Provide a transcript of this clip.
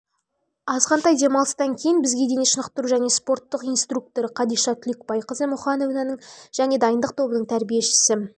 азғантай демалыстан кейін бізге дене шынықтыру және спорттық инструкторы қадиша түлекбайқызы мұханованың және дайындық тобының тәрбиешісі